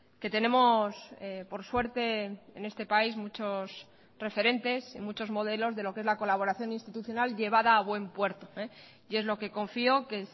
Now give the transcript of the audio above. que tenemos por suerte en este país muchos referentes y muchos modelos de lo que es la colaboración institucional llevada a buen puerto y es lo que confío que